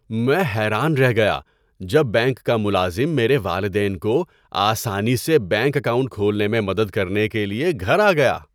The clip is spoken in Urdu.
میں حیران رہ گیا جب بینک کا ملازم میرے والدین کو آسانی سے بینک اکاؤنٹ کھولنے میں مدد کرنے کے لیے گھر آ گیا۔